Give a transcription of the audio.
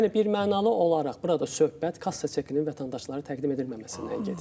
Yəni birmənalı olaraq burada söhbət kassa çekinin vətəndaşlara təqdim edilməməsindən gedir.